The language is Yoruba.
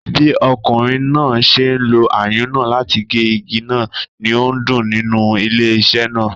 Bí ọkùnrin náà ṣe ń lo ayùn náà láti gé igi náà, ni ó ń dún nínú ilé iṣé náà.